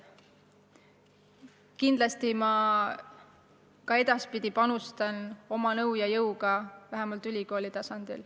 Kindlasti ma ka edaspidi panustan nõu ja jõuga vähemalt ülikooli tasandil.